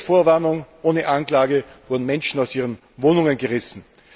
Ohne Vorwarnung und ohne Anklage wurden Menschen aus ihren Wohnungen gerissen.